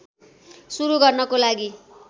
सुरु गर्नको लागि